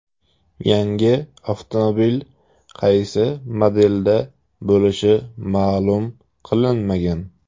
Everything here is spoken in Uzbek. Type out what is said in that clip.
Yangi avtomobil qaysi modelda bo‘lishi ma’lum qilinmagan.